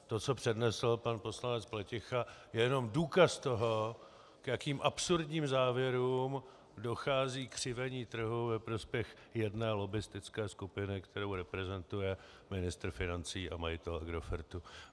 To, co přednesl pan poslanec Pleticha, je jenom důkaz toho, k jakým absurdním závěrům dochází křivení trhu ve prospěch jedné lobbistické skupiny, kterou reprezentuje ministr financí a majitel Agrofertu.